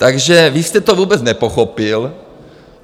Takže vy jste to vůbec nepochopil.